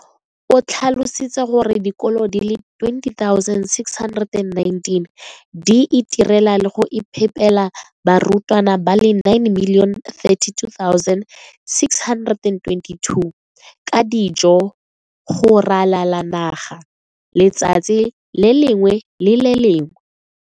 o tlhalositse gore dikolo di le 20 619 di itirela le go iphepela barutwana ba le 9 032 622 ka dijo go ralala naga letsatsi le lengwe le le lengwe.